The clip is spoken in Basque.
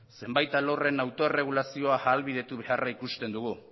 zenbait alorren autoerregulazioa ahalbidetu beharra ikusten dugu